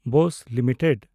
Bose limited